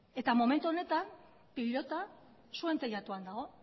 momentu honetan pilota zuen teilatuan dago